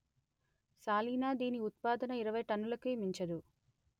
సాలీనా దీని ఉత్పాదన ఇరవై టన్నులకి మించదు